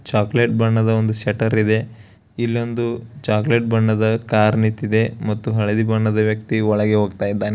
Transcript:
Chocolate ಬಣ್ಣದ ಒಂದು shutter ಇದೆ ಇಲ್ಲಿ ಒಂದು ಚಾಕಲೇಟ್ ಬಣ್ಣದ ಕಾರ್ ನಿತ್ತಿದೆ ಮತ್ತು ಹಳದಿ ಬಣ್ಣದ ವ್ಯಕ್ತಿಯು ಒಳಗೆ ಹೋಗ್ತಾ ಇದ್ದಾನೆ.